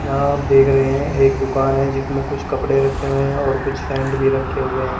यहां आप देख रहे हैं एक दुकान है जिसमें कुछ कपड़े रखे हुए हैं और कुछ सैंड भी रखे हुए है ।